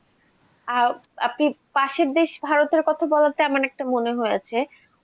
আহ আপনি পাশের দেশ ভারতের কথা বলাতে আমার এটা মনে হয়েছে